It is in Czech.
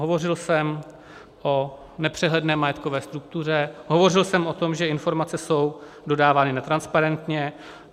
Hovořil jsem o nepřehledné majetkové struktuře, hovořil jsem o tom, že informace jsou dodávány netransparentně.